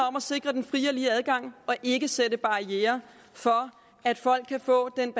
om at sikre den frie og lige adgang og ikke sætte barrierer for at folk kan få den